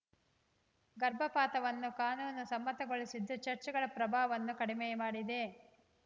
ಗರ್ಭಪಾತವನ್ನು ಕಾನೂನು ಸಮ್ಮತಗೊಳಿಸಿದ್ದು ಚರ್ಚ್ ಗಳು ಪ್ರಭಾವವನ್ನು ಕಡಿಮೆ ಮಾಡಿದೆ